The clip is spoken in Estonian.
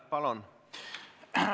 Palun!